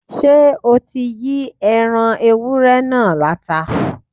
Ṣé o ti Yí ẹran ewúré náà láta?